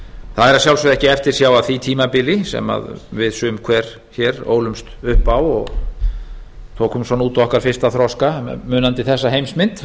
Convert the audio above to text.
það er að sjálfsögðu ekki eftirsjá að því tímabili sem við sum hver hér ólumst upp á og tókum út okkar fyrsta þroska munandi þessa heimsmynd